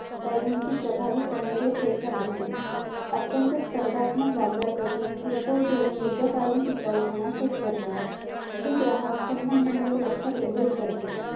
पेहळूची प्रभावीपणे रु रेषा देते अत्यंत सपर्धात्मक बाजारपेठेत किरकोळ धोरण दीर्घकालिन ठिकाऊ पण सेट करते हे ग्राहक संबंधावर लक्ष केंद्रीक करते